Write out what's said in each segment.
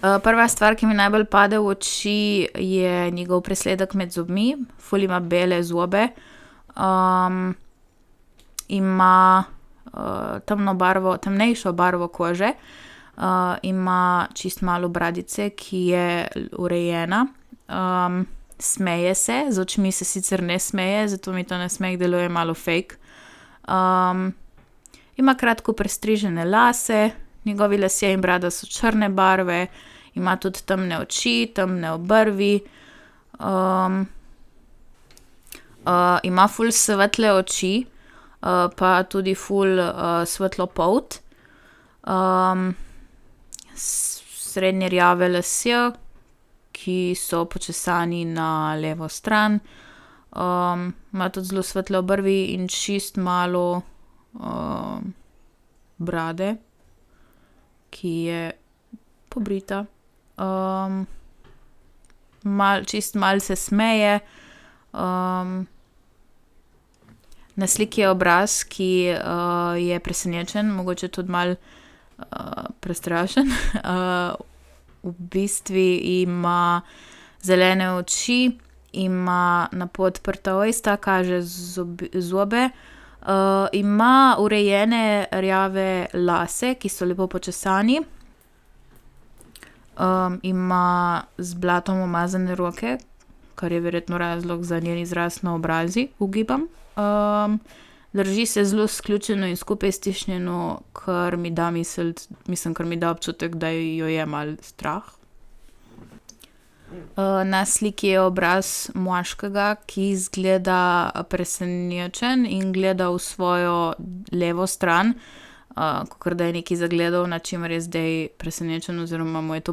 prva stvar, ki mi najbolj pade v oči, je njegov presledek med zobmi. Ful ima bele zobe. ima, temno barvo, temnejšo barvo kože. ima čisto malo bradice, ki je urejena. smeje se, z očmi se sicer ne smeje, zato mi ta nasmeh deluje malo fake. ima kratko pristrižene lase, njegovi lasje in brada so črne barve. Ima tudi temne oči, temne obrvi. ima ful svetle oči, pa tudi ful svetlo polt. srednje rjavi lasje, ki so počesani na levo stran. ima tudi zelo svetle obrvi in čisto malo, brade, ki je pobrita. malo, čisto malo se smeje, na sliki je obraz, ki, je presenečen, mogoče tudi malo, prestrašen. v bistvu ima zelene oči, ima napol odprta usta, kaže zobe. ima urejene rjave lase, ki so lepo počesani. ima z blatom umazane roke, kar je verjetno razlog za njen izraz na obrazu, ugibam, Drži se zelo sključeno in skupaj stisnjeno, kar mi da misliti, mislim, kar mi da občutek, da jo je malo strah. na sliki je obraz moškega, ki izgleda presenečen in gleda v svojo levo stran, kakor da je nekaj zagledal, nad čimer je zdaj presenečen oziroma mu je to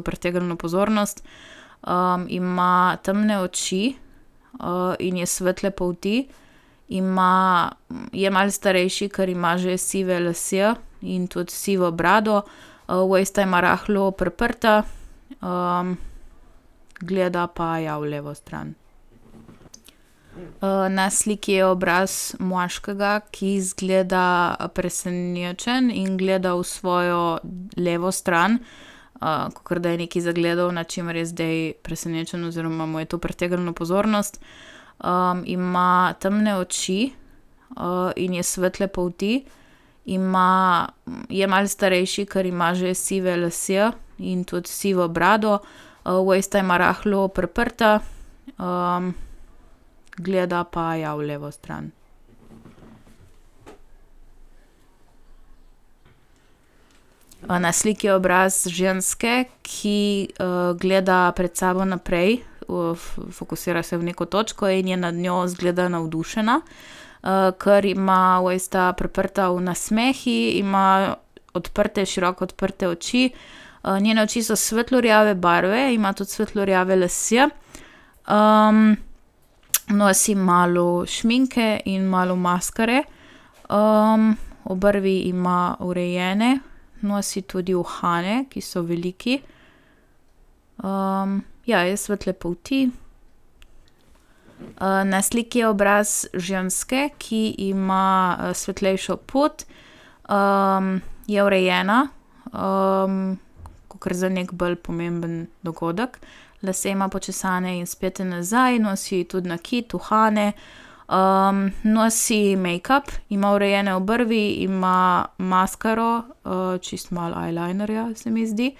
pritegnilo pozornost. ima temne oči, in je svetle polti, ima, je malo starejši, ker ima že sive lase in tudi sivo brado. usta ima rahlo priprta. gleda pa, ja, v levo stran. na sliki je obraz moškega, ki izgleda, presenečen in gleda v svojo levo stran. kakor, da je nekaj zagledal, nad čimer je zdaj presenečen oziroma mu je to pritegnilo pozornost. ima temne oči, in je svetle polti. Ima, je malo starejši, ker ima že sive lase in tudi sivo brado. usta ima rahlo priprta. gleda pa, ja, v levo stran. Ima na sliki obraz ženske, ki, gleda pred sabo naprej. fokusira se v neko točno in je nad njo, izgleda, navdušena. ker ima usta priprta v nasmehu, ima odprte, široko odprte oči, njene oči so svetlo rjave barve, ima tudi svetlo rjave lase. nosi malo šminke in malo maskare. obrvi ima urejene, nosi tudi uhane, ki so veliki. ja, je svetle polti. na sliki je obraz ženske, ki ima, svetlejšo polt, je urejena, kakor za neki bolj pomemben dogodek, lase ima počesane in spete nazaj, nosi tudi nakit, uhane, nosi mejkap, ima urejene obrvi, ima maskaro, čisto malo eyelinerja, se mi zdi.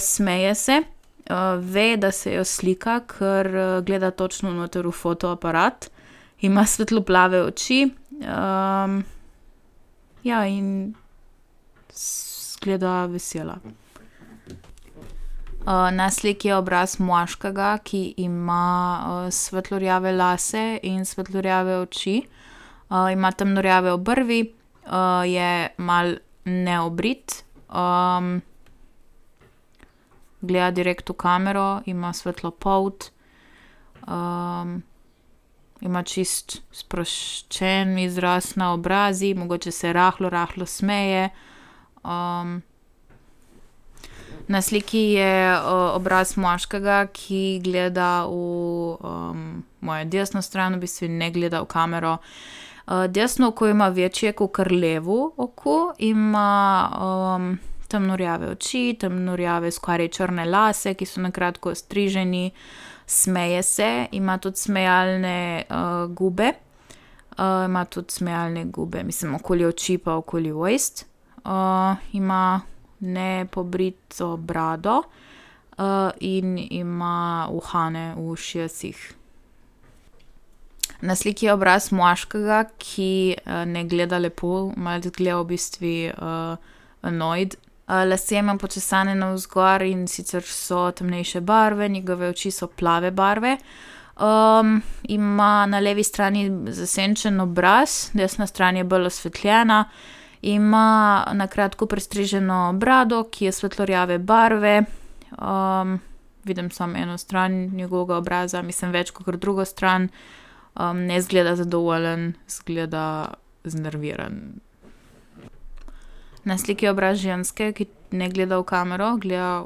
smeje se, ve, da se jo slika, ker, gleda točno noter v fotoaparat. Ima svetlo plave oči, ja, in izgleda vesela. na sliki je obraz moškega, ki ima, svetlo rjave lase in svetlo rjave oči, ima temno rjave obrvi, je malo neobrit. gleda direkt v kamero, ima svetlo polt, ima čisto sproščen izraz na obrazu, mogoče se rahlo, rahlo smeje. na sliki je, obraz moškega, ki gleda v, mojo desno stran, v bistvu ne gleda v kamero. desno oko ima večje kakor levo oku. Ima, temno rjave oči, temno rjave skoraj črne lase, ki so na kratko ostriženi. Smeje se, ima tudi smejalne, gube. ima tudi smejalne gube, mislim, okoli oči pa okoli ust. ima nepobrito brado, in ima uhane v ušesih. Na sliki je obraz moškega, ki, ne gleda lepo, malo tudi gleda v bistvu, nojd, lase ima počesane navzgor, in sicer so temnejše barve, njegove oči so plave barve. ima na levi strani zasenčen obraz, desna stran je bolj osvetljena, ima na kratko pristriženo brado, ki je svetlo rjave barve. vidim samo eno stran njegovega obraza, mislim, več kakor drugo stran. ne izgleda zadovoljen, izgleda znerviran. Na sliki je obraz ženske, ki ne gleda v kamero, gleda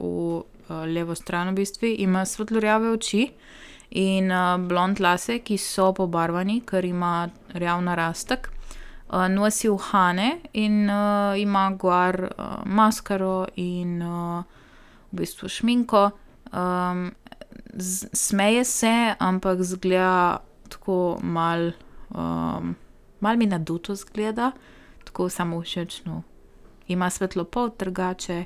v, levo stran v bistvu, ima svetlo rjave oči in, blond lase, ki so pobarvani, ker ima rjav narastek. nosi uhane in, ima gor, maskaro in, v bistvu šminko, smeje se, ampak izgleda tako malo, malo mi naduto izgleda. Tako samovšečno. Ima svetlo polt, drugače. ...